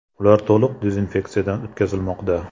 Ular to‘liq dezinfeksiyadan o‘tkazilmoqda.